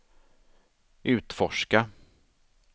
utforska